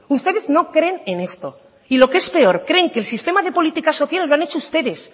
ustedes no creen en esto y lo que es peor creen el sistema de políticas sociales lo han hecho ustedes